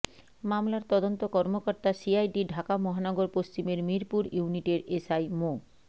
মামলার তদন্ত কর্মকর্তা সিআইডির ঢাকা মহানগর পশ্চিমের মিরপুর ইউনিটের এসআই মো